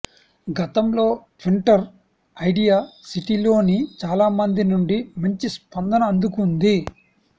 గతంలో Twitter idea సిటీలోని చాలా మంది నుండి మంచి స్పందన అందుకుంది